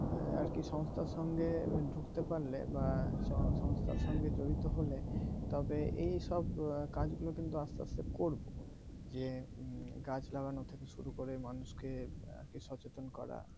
আর কি সংস্থার সঙ্গে ঢুকতে পারলে বা সংস্থার সঙ্গে জড়িত হলে তবে এইসব কাজগুলো কিন্তু আস্তে আস্তে করবো যে গাছ লাগানোর থেকে শুরু করে মানুষকে আগে সচেতন করা